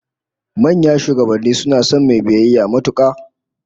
Manya da shugabanni suna son mai biyayya matuka